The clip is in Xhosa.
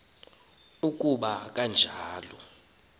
uku ba kanjalo